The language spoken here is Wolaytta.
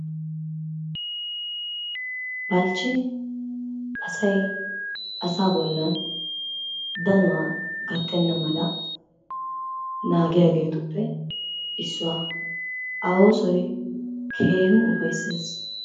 balchchi asay asa bollan danuwaa gattena mala naagiyageetuppe issuwa. a oosoy keehin ufayssees.